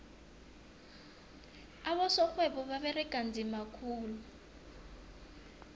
abosorhwebo baberega nzima khulu